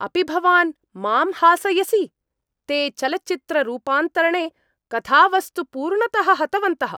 अपि भवान् मां हासयसि? ते चलच्चित्ररूपान्तरणे कथावस्तु पूर्णतः हतवन्तः।